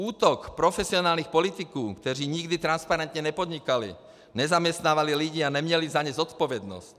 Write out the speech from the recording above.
Útok profesionálních politiků, kteří nikdy transparentně nepodnikali, nezaměstnávali lidi a neměli za ně zodpovědnost.